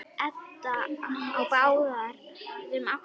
Edda er á báðum áttum.